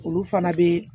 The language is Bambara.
Olu fana bɛ